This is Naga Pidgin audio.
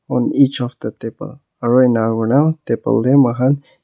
on each of the table aru enakurina table te moikhan--